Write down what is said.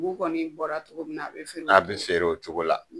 Dugu kɔni bɔra cogo min na a bi feere o cogo la? a bi feere o cogo la.